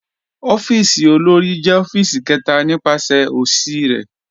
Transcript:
Ọ̀fíìsì òlórí jẹ̀ ọ̀fíìsì kẹta nípasẹ̀ osì rẹ.